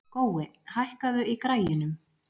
Gói, hækkaðu í græjunum.